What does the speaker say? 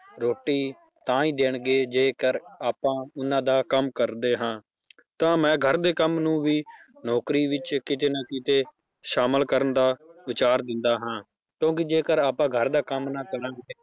ਰੋਟੀ ਤਾਂ ਹੀ ਦੇਣਗੇ ਜੇਕਰ ਆਪਾਂ ਉਹਨਾਂ ਦਾ ਕੰਮ ਕਰਦੇ ਹਾਂ, ਤਾਂ ਮੈ ਘਰਦੇ ਕੰਮ ਨੂੰ ਵੀ ਨੌਕਰੀ ਵਿੱਚ ਕਿਤੇ ਨਾ ਕਿਤੇ ਸ਼ਾਮਲ ਕਰਨ ਦਾ ਵਿਚਾਰ ਦਿੰਦਾ ਹਾਂ ਕਿਉਂਕਿ ਜੇਕਰ ਆਪਾਂ ਘਰਦਾ ਕੰਮ ਨਾ